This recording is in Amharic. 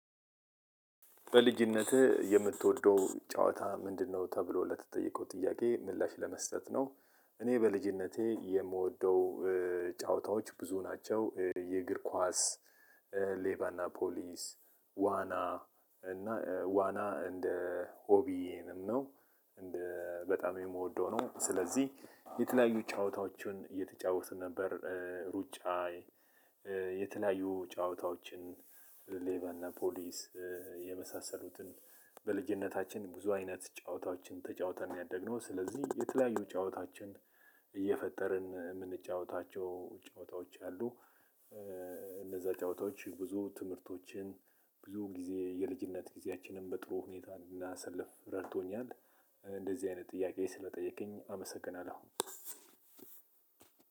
በልጅነትህ የምትወደው ጨዋታ ምንድነው? ተብሎ ለተጠየቀው ጥያቄ ምላሽ ለመስጠት ነው። እኔ በልጅነቴ የምወደው ጨዋታዎች ብዙ ናቸው የእግር ኳስ። ሌባና ፖሊስ። ዋና እና ዋና እንደ ሆቢዬንም ነው። በጣም የምወደው ነው ስለዚህ የተለያዩ ጨዋታዎችን እየተጫወትን ነበር። ሩጫ በጣም የምወደው ነው። ስለዚህ በልጅነታችን ብዙ አይነት ጨዋታዎችን ተጫውተን ነው ያደግነው። ስለዚህ የተለያዩ ጨዋታዎችን እየፈጠርን የምንጫወታቸው ጨዋታዎች አሉ። እነዛ ጨዋታዎች ብዙ ትምህርቶችን ብዙ ጊዜ የልጅነት ጊዜአችንን በጥሩ ሁኔታ እንዳሳልፍ ረድቶኛልጨዋታንን እንዳሳልፍ ረድቶኛል። እንደዚህ አይነት ጥያቄ ስለጠየከኝ አመሰግናለሁ።